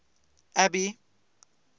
abby